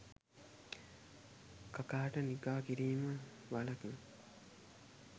කකාට නිගා කිරීමෙන් වලකිනු